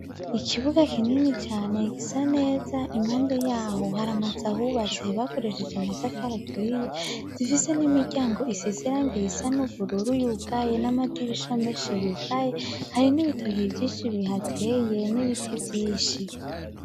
Ikibuga kinini cane gisa neza, impande ya ho hari amazu ahubatse bakoresheje amatafari aturiye, zifise n'imiryango isize irangi risa n'ubururu yugaye, n'amadirisha menshi yugaye, hari n'ibitoke vyinshi bihateye, n'ibiti vyinshi.